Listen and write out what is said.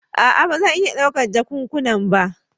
A'a ba zan iya ɗaukar jakunkuna ba.